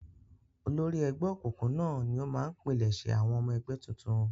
Olórí ẹgbẹ́ òkùnkùn náà ni ó máa ń pilẹ̀sẹ̀ àwọn ọmọ ẹgbẹ́ tuntun.